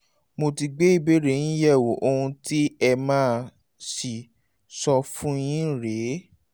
mo ti gbé ìbéèrè yín yẹ̀wò ohun tí mà á sì sọ fún yín rè é